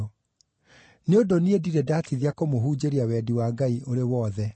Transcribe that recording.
Nĩ ũndũ niĩ ndirĩ ndatithia kũmũhunjĩria wendi wa Ngai ũrĩ wothe.